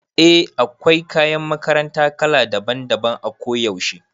Eh da akwai kayan makaranta kala daban daban a kuyaushe